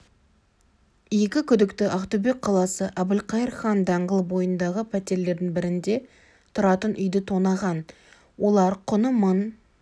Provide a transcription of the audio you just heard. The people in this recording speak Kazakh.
екі күдікті ақтөбе қаласы әбілқайыр хан даңғылы бойындағы пәтерлердің бірінде тұратын үйді тонаған олар құны мың